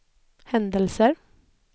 händelser